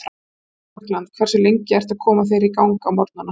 Suður-Frakkland Hversu lengi ertu að koma þér í gang á morgnanna?